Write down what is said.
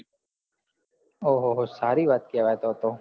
ઓહ સારી વાત છે આ તો